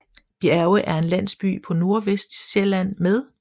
Bjerge er en landsby på Nordvestsjælland med